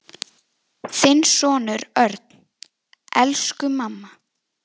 Þinn sonur Örn. Elsku mamma.